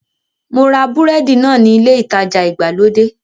Mo ra búrẹ́dì náà ní ilé ìtajà ìgbàlódé